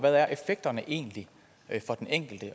de enkelte